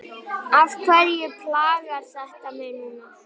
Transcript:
Af hverju plagar þetta mig núna?